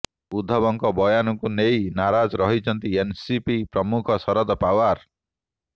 ଉଦ୍ଧବଙ୍କ ବୟାନକୁ ନେଇ ନାରାଜ ରହିଛନ୍ତି ଏନ୍ସିପି ପ୍ରମୁଖ ଶରଦ ପାଓ୍ବାର